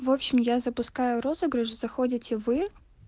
в общем я запускаю розыгрыш заходите вы